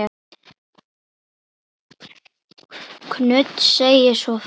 Knud segir svo frá